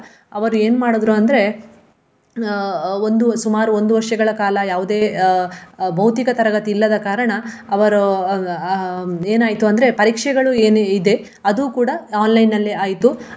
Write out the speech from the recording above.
ಅವರು ಏನ್ ಮಾಡಿದ್ರು ಅಂದ್ರೆ ಅಹ್ ಒಂದು ಸುಮಾರು ಒಂದು ವರ್ಷಗಳ ಕಾಲ ಯಾವುದೇ ಅಹ್ ಭೌತಿಕ ತರಗತಿ ಇಲ್ಲದ ಕಾರಣ ಅವರು ಅಹ್ ಏನಾಯ್ತು ಅಂದ್ರೆ ಪರೀಕ್ಷೆಗಳು ಏನು ಇದೆ ಅದು ಕೂಡ online ಅಲ್ಲೆ ಆಯ್ತು.